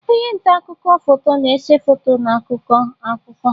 Onye nta akụkọ foto na-ese foto na-akọ akụkọ.